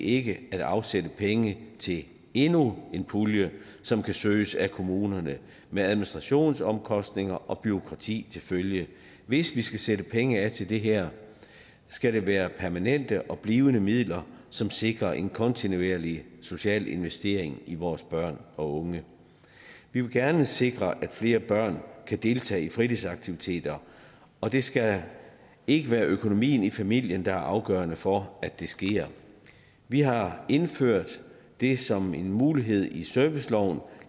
ikke at afsætte penge til endnu en pulje som kan søges af kommunerne med administrationsomkostninger og bureaukrati til følge hvis vi skal sætte penge af til det her skal det være til permanente og blivende midler som sikrer en kontinuerlig social investering i vores børn og unge vi vil gerne sikre at flere børn kan deltage i fritidsaktiviteter og det skal ikke være økonomien i familien der er afgørende for at det sker vi har indført det som en mulighed i serviceloven og